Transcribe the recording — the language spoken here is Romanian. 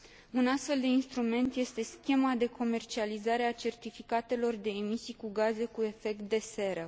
Un astfel de instrument este Schema de comercializare a certificatelor de emisii de gaze cu efect de seră.